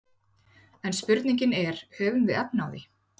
En spurningin er höfum við efni á því?